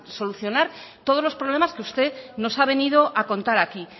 solucionar todos los problemas que usted nos ha venido a contar aquí